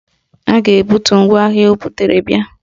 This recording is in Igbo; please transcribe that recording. A ga-ebutu ngwaahịa o butere bia